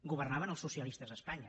governaven els socialistes a espanya